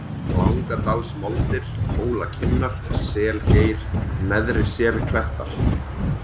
Langadalsmoldir, Hólakinnar, Selgeir, Neðri-Selklettar